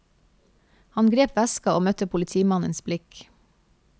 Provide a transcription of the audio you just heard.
Han grep veska og møtte politimannens blikk.